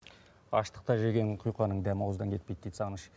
аштықта жеген құйқаның дәмі ауыздан кетпейді дейді сағыныш